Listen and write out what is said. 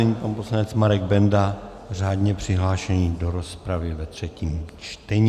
Nyní pan poslanec Marek Benda, řádně přihlášený do rozpravy ve třetím čtení.